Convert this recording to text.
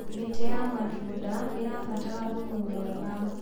mĩtĩ ya matunda irabatara thumu mwega